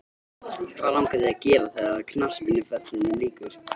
Hvað langar þig að gera þegar að knattspyrnuferlinum líkur?